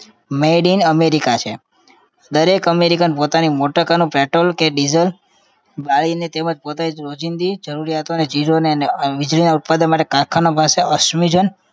made in America છે દરેક American પોતાની motorcar નું petrol કે diesel બાળીને તેમજ પોતાની રોજિંદી જરૂરિયાતોને ચીજોને ને વીજળીના ઉત્પાદન માટે કારખાના પાસે અશ્મિજન્ય